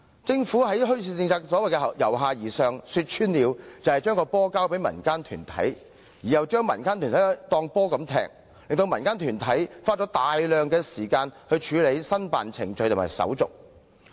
政府在墟市政策上的所謂"由下而上"，說穿了就是把"球"交給民間團體，同時把民間團體像球一樣踢來踢去，令民間團體花大量時間在申辦程序及手續上。